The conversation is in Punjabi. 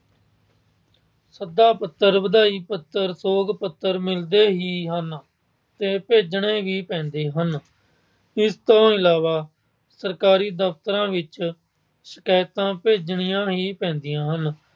ਸੱਦਾ-ਪੱਤਰ, ਵਧਾਈ-ਪੱਤਰ, ਸੌਕ ਪੱਤਰ ਮਿਲਦੇ ਹੀ ਹਨ ਤੇ ਭੇਜਣੇ ਵੀ ਪੈਂਦੇ ਹਨ। ਇਸ ਤੋਂ ਇਲਾਵਾ ਸਰਕਾਰੀ ਦਫ਼ਤਰਾਂ ਵਿੱਚ ਸ਼ਿਕਾਇਤਾਂ ਭੇਜਣੀਆਂ ਹੀ ਪੈਂਦੀਆਂ ਹਨ।